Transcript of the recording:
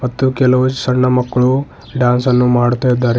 ಮತ್ತು ಕೆಲವು ಸಣ್ಣ ಮಕ್ಕಳು ಡ್ಯಾನ್ಸ್ ಅನ್ನು ಮಾಡ್ತಾ ಇದ್ದಾರೆ.